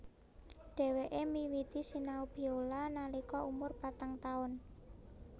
Dhèwèké miwiti sinau biola nalika umur patang taun